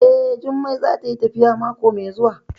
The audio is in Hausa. Eh, Jummai za ta yi tafiya mako mai zuwa